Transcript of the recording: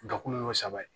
Dakun y'o saba ye